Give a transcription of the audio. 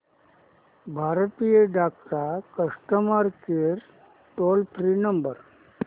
भारतीय डाक चा customer care toll free number